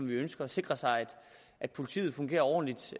vi ønsker at sikre sig at politiet fungerer ordentligt